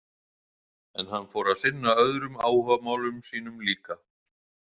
En hann fór að sinna öðrum áhugamálum sínum líka.